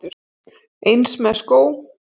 Eins með skó.